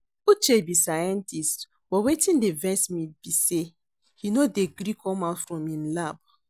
Uche be scientist but wetin dey vex me be say he no dey gree come out from im lab